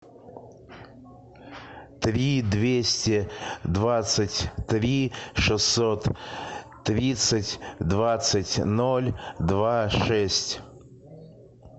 три двести двадцать три шестьсот тридцать двадцать ноль два шесть